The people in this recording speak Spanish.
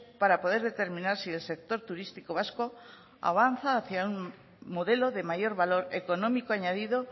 para poder determinar si el sector turístico vasco avanza hacia un modelo de mayor valor económico añadido